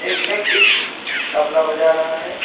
एक व्यक्ति तबला बजा रहा है।